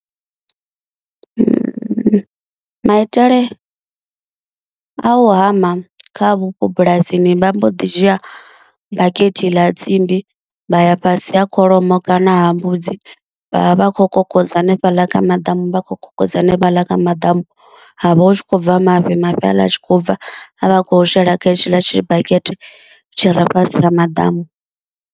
Maitele a u hama kha vhupo bulasini vha mbo ḓi dzhia bakete ḽa tsimbi vha ya fhasi ha kholomo kana ha mbudzi vhavha vha kho kokodza hanefhaḽa kha maḓamu vha kho kokodza hanefhaḽa kha maḓamu havha hu tshi khou bva mafhi, mafhi ha aḽa a tshi khou bva a vha kho shela kha hetshiḽa tshi bakete tshi re fhasi ha maḓamu.